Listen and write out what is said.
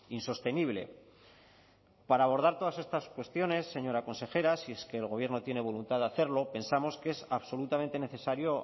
insostenible para abordar todas estas cuestiones señora consejera si es que el gobierno tiene voluntad de hacerlo pensamos que es absolutamente necesario